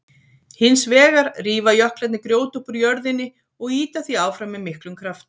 Hins vegar rífa jöklarnir grjót upp úr jörðinni og ýta því áfram með miklum krafti.